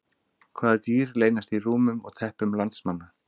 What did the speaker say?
Hvaða dýr leynast í rúmum og teppum landsmanna?